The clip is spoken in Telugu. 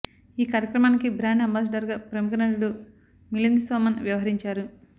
ఈ కార్యక్రమానికి బ్రాండ్ అంబాసిడర్గా ప్రముఖ నటుడు మిలింద్ సోమన్ వ్యవహరించారు